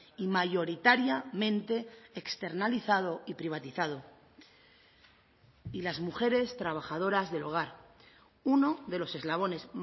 y mayoritariamente externalizado y privatizado y las mujeres trabajadoras del hogar uno de los eslabones